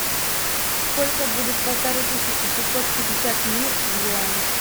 сколько будет полторы тысячи шестьсот пятьдесят лир в юанях